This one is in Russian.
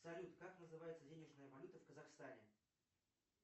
салют как называется денежная валюта в казахстане